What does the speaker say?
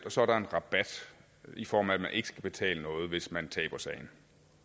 og så er der en rabat i form af at man ikke skal betale noget hvis man taber sagen